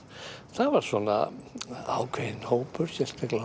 það var svona ákveðinn hópur sérstaklega